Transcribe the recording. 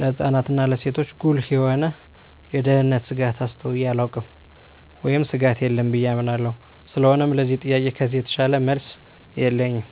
ለህጻናት እና ለሴቶች ጉልህ የሆነ የደህንነት ስጋት አስተውየ አላውቅም ወይም ስጋት የለም ብየ አምናለሁ ስለሆነም ለዚህ ጥያቄ ከዚህ የተሻለ መልስ የለኝም።